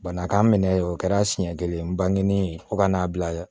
Bana k'an minɛ o kɛra siɲɛ kelen bangenen ye fo ka n'a bila yɛrɛ